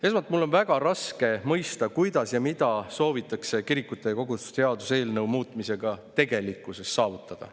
Esmalt on mul väga raske mõista, kuidas ja mida soovitakse kirikute ja koguduste seaduse muutmisega saavutada.